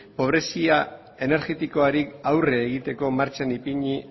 pobrezia energetikoari aurre egiteko martxan ipini